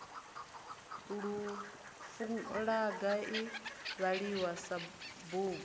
fulaga i vhaliwa sa bugu